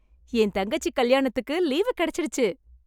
என் தங்கச்சி கல்யாணத்துக்கு லீவு கிடைச்சிடுச்சு